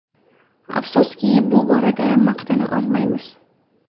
Afsuski, bu borada maqtana olmaymiz.